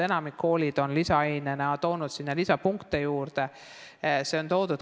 Enamik koole on toonud lisaaine puhul juurde lisapunkte.